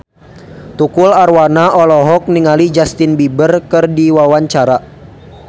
Tukul Arwana olohok ningali Justin Beiber keur diwawancara